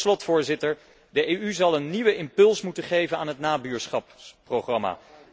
Tot slot, Voorzitter, zal de EU een nieuwe impuls moeten geven aan het nabuurschapsprogramma.